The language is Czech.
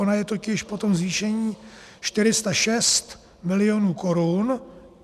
Ona je totiž po tom zvýšení 406 milionů korun.